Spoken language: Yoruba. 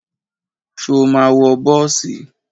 Ṣo ma wọ bọ́ọ̀sì?